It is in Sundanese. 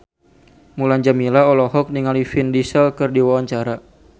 Mulan Jameela olohok ningali Vin Diesel keur diwawancara